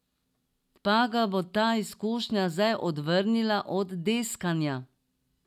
Pa ga bo ta izkušnja zdaj odvrnila od deskanja?